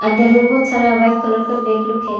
इधर में बहुत सारा वाइट कलर का बैग लोग है।